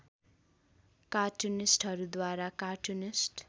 कार्टुनिस्टहरूद्वारा cartoonist